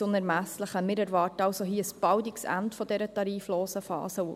Wir erwarten ein baldiges Ende dieser tariflosen Phase.